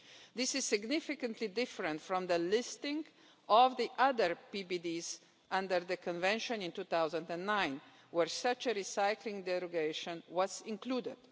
This is significantly different from the listing of the other PBDEs under the Convention in 2009, where such a recycling derogation was included.